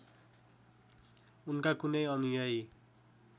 उनका कुनै अनुयायी